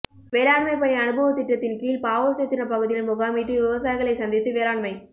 வேளாண்மை பணி அனுபவத் திட்டத்தின்கீழ் பாவூா்சத்திரம் பகுதியில் முகாமிட்டு விவசாயிகளை சந்தித்து வேளாண்மை